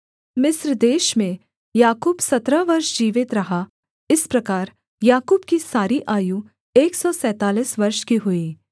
मिस्र देश में याकूब सत्रह वर्ष जीवित रहा इस प्रकार याकूब की सारी आयु एक सौ सैंतालीस वर्ष की हुई